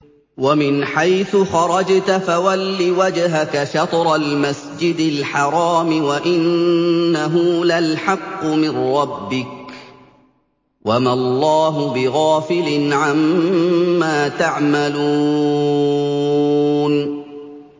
وَمِنْ حَيْثُ خَرَجْتَ فَوَلِّ وَجْهَكَ شَطْرَ الْمَسْجِدِ الْحَرَامِ ۖ وَإِنَّهُ لَلْحَقُّ مِن رَّبِّكَ ۗ وَمَا اللَّهُ بِغَافِلٍ عَمَّا تَعْمَلُونَ